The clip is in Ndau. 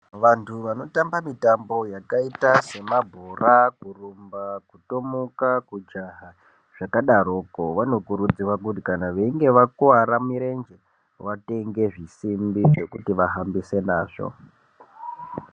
Vanhu vanotamba mitambo yakaita semabhora kurumba kutomuka kujaha zvakadaroko vanokurudzirwa kuti veinge vakuwara murenje vatenge zvisimbi zvekuti vahambise nazvo.